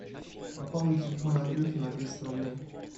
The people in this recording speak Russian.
пополни телефон андрюхи на триста рублей